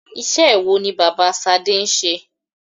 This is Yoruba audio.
Iṣẹ́ wo ni bàbá Ṣadé ń ṣe?